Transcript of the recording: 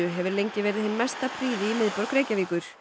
hefur lengi verið hin mesta prýði í miðborg Reykjavíkur